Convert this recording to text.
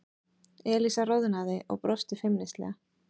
Elísa roðnaði og brosti feimnislega.